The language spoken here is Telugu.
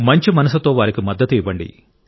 మంచి మనసుతో వారికి మద్దతు ఇవ్వండి